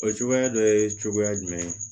O cogoya dɔ ye cogoya jumɛn